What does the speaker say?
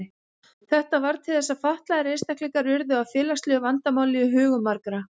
Þetta varð til þess að fatlaðir einstaklingar urðu að félagslegu vandamáli í hugum margra.